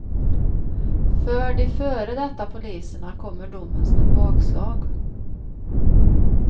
För de före detta poliserna kommer domen som ett bakslag.